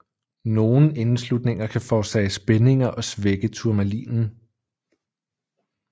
Nogle indeslutninger kan forårsage spændinger og svække turmalinen